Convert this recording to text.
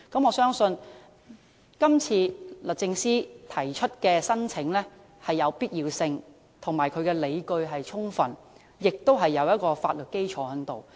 我相信律政司今次提出的申請有必要性，而且理據充分，亦具法律基礎。